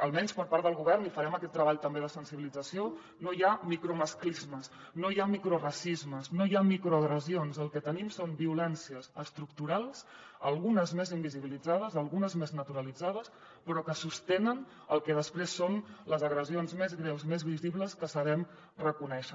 almenys per part del govern i farem aquest treball també de sensibilització no hi ha micromasclismes no hi ha microracismes no hi ha microagressions el que tenim són violències estructurals algunes més invisibilitzades algunes més naturalitzades però que sostenen el que després són les agressions més greus més visibles que sabem reconèixer